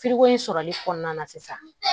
sɔrɔli kɔnɔna na sisan